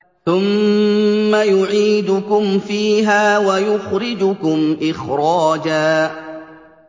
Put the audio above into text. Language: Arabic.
ثُمَّ يُعِيدُكُمْ فِيهَا وَيُخْرِجُكُمْ إِخْرَاجًا